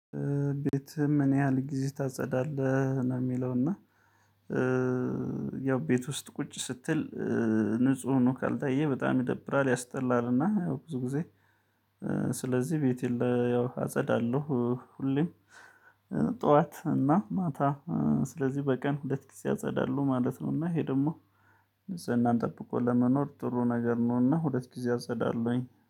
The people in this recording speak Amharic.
ቤትህ ምን ያህል ጊዜ ታጸዳለህ ነው የሚለው? እና ያው ቤት ውስጥ ቁጭ ስትል ንጹህ ነው ካልታየ በጣም ይደብራል ያስጠላል። እና ብዙ ጊዜ ስለዚህ ቤት ለ ያው አጸዳለሁ ሁሌም። ጠዋት እና ማታ ስለዚህ በቀን ሁለት ጊዜ አጸዳለሁ ማለት ነውና ይሄ ደግሞ ንጽህናን ጠብቆ ለመኖር ጥሩ ነገር ነውና ሁለት ጊዜ አጸዳለሁኝ